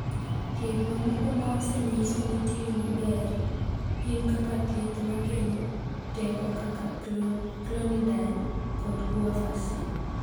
Thieth mamoko ma osenyiso ni tiyo maber gin kaka thieth ma kelo teko kaka clonidine kod guanfacine.